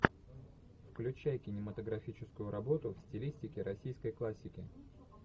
включай кинематографическую работу в стилистике российской классики